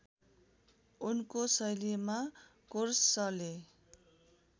उनको शैलीमा कोरसले